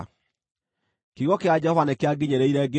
Kiugo kĩa Jehova nĩkĩanginyĩrĩire, ngĩĩrwo atĩrĩ: